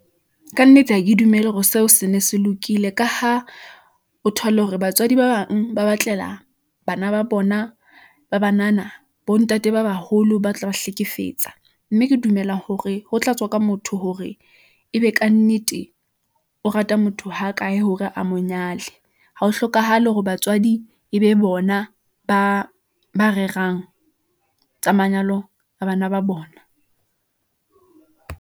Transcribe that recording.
Ka nnete, ha ke dumele hore seo se ne se lokile. Ka ha o thole hore batswadi ba bang ba batlela bana ba bona ba banana bo ntate ba baholo, ba tla ba hlekefetsa. Mme ke dumela hore ho tla tswa ka motho hore e be ka nnete o rata motho ha kae hore a mo nyale. Ha ho hlokahale hore batswadi e be bona ba rerang tsa manyalo a bana ba bona.